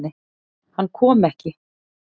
Hann kom ekki.